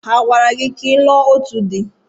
A gwara gị ka ị lụọ òtù di?